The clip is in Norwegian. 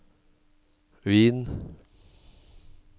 Wien